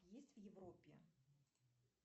есть в европе